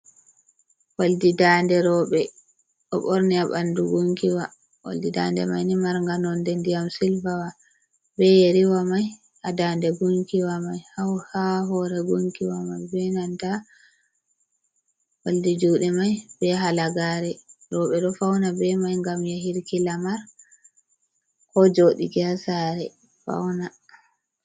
Odi ndande rewɓe ɗo borni ha ɓandu gunkiwa, oldi ndade maini marga nonde ndiyam silvawa, be yeriwa mai ha dande gunkiwa mai, ha hore gunkiwa mai, be nanta oldi juɗe mai be halagare, rewɓe ɗo fauna be mai gam yahuki lamar, ko joɗa ha saare fauna.